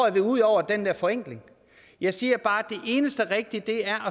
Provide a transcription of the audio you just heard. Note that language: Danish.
at vi ude over den der forenkling jeg siger bare at det eneste rigtige er